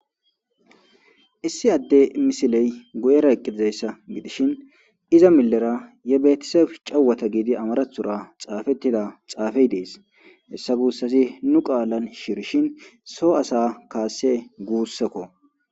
Issi adde misiley guuyera eeqi dizayssa giddishin iza milera ye betiseb cewota gettetidi amaraththora xaafey dees hiissa guussay nu qaalara shiirishin soo asa kase guussukko.